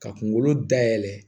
Ka kunkolo dayɛlɛ